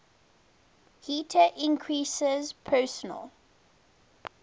heater increases personal